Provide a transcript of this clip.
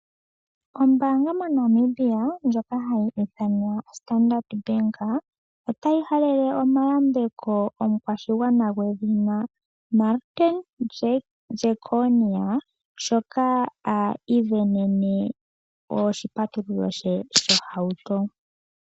Ombaanga moNamibia ndjoka hayi ithanwa Standard Bank otayi halele omayambeko omukwashigwana gwedhina Martin Jeckonia shoka asindana oshipatululo she shohauto.